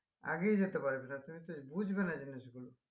আগিয়ে যেতে পারবে না তুমি তো বুঝবে না জিনিসগুলো